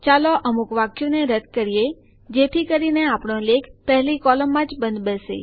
ચાલો અમુક વાક્યોને રદ્દ કરીએ જેથી કરીને આપણો લેખ પહેલી કોલમમાં જ બંધબેસે